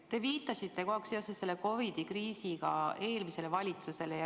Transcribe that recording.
Te viitasite kogu aeg seoses COVID‑i kriisiga eelmisele valitsusele.